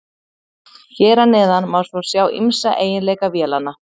Hér að neðan má svo sjá ýmsa eiginleika vélanna.